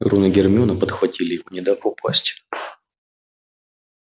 рон и гермиона подхватили его не дав упасть